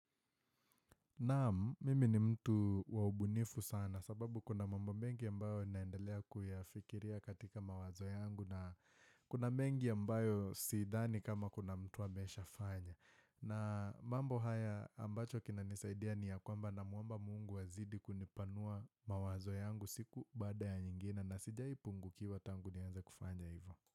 Naam mimi ni mtu waubunifu sana sababu kuna mambo mengi ambayo naendelea kuyafikiria katika mawazo yangu na kuna mengi ambayo siidhani kama kuna mtu amesha fanya. Na mambo haya ambacho kina nisaidia ni ya kwamba namuomba mungu azidi kunipanua mawazo yangu siku baada ya nyingine na sijaipu ngu kiwa tangu nianze kufanya hivo.